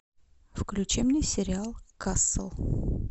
включи мне сериал касл